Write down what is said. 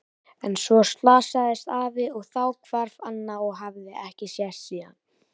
En svo slasaðist afi og þá hvarf Anna og hafði ekki sést síðan.